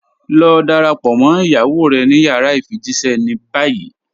Lọ dáràpọ̀ mọ́ iyàwó rẹ̀ ní yàrá ifijíṣẹ̀ ní báyì.